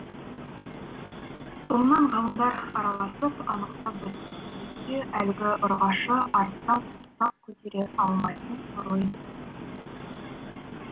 соңынан ғалымдар араласып анықтап біліпті сөйтсе әлгі ұрғашы арыстан құрсақ көтере алмайтын сорлы екен